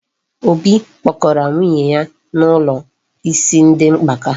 Obi kpọgara nwunye ya n'ụlọ isi ndị mgbaka.